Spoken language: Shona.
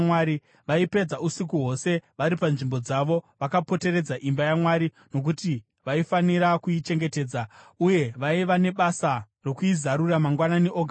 Vaipedza usiku hwose vari panzvimbo dzavo vakapoteredza imba yaMwari, nokuti vaifanira kuichengetedza; uye vaiva nebasa rokuizarura mangwanani oga oga.